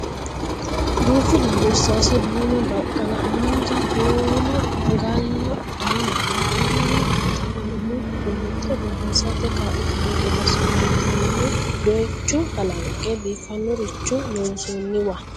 Duuchu dani irsaase:duume, baqqala, haanja, kuula, magaala, daamanna bulla mitteenni umo qunxe borreessate kaa'litanno gede assinoonnitenni dooyicho kalanqe biifannoricho loonsoonniwa.